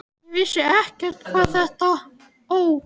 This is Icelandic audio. Ég vissi ekkert hvað þetta Ó!